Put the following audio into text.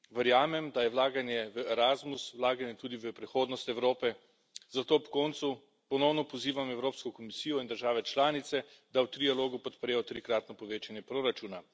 Verjamem, da je vlaganje v Erasmus vlaganje tudi v prihodnost Evrope, zato ob koncu ponovno pozivam Evropsko komisijo in države članice, da v trialogu podprejo trikratno povečanje proračuna.